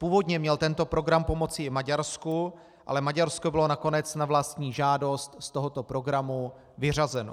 Původně měl tento program pomoci i Maďarsku, ale Maďarsko bylo nakonec na vlastní žádost z tohoto programu vyřazeno.